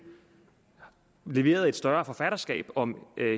leveret et større forfatterskab om